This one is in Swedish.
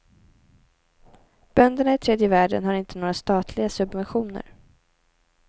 Bönderna i tredje världen har inte några statliga subventioner.